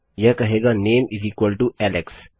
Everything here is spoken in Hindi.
यह कहेगा नाम एलेक्स